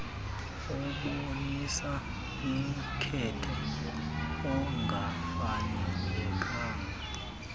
ebonisa umkhethe ongafanelekanga